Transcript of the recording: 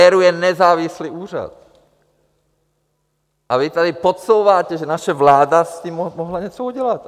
ERÚ je nezávislý úřad a vy tady podsouváte, že naše vláda s tím mohla něco udělat.